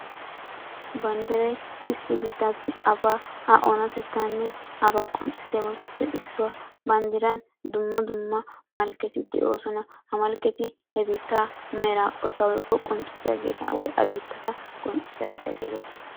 Banddiray issi biittassi abaa a oonatettanne aba qocissiyabatuppe issuwaa bandiraan dumma dumma malkketti de'ossona ha malketti he biittaa meraa qottaa woykko a biitta qoncissiyaagetta geettetosona.